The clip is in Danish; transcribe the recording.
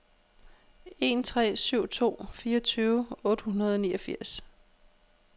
en tre syv to fireogtyve otte hundrede og niogfirs